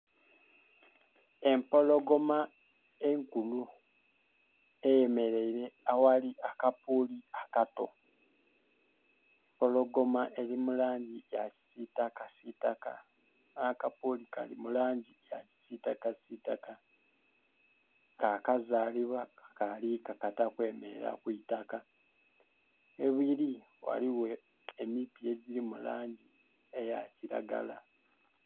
Epologoma enkulu eyemeeire aghali akapuli akato, empologoma eri mu langi ya kisitaka sitaka nha kapuli kali mu lani ya kisitaka sitaka ka kazaliwa kakali kakata kwemerera kwi taaka. Ghebiri ghaligho emiti egiri mu langi eya kilagala.